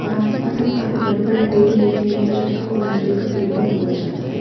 और आस-पास हम काफी बड़े-बड़े पेड़ देख रहे हैं जिसको नारियल का पेड़ भी बोला जाता है।